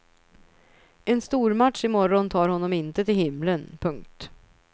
En stormatch i morgon tar honom inte till himlen. punkt